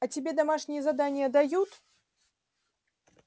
а тебе домашние задания дают